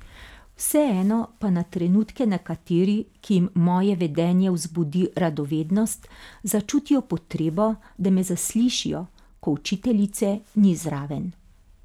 Vseeno pa na trenutke nekateri, ki jim moje vedenje vzbudi radovednost, začutijo potrebo, da me zaslišijo, ko učiteljice ni zraven.